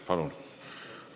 Palun!